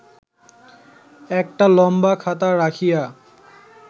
একটা লম্বা খাতা রাখিয়া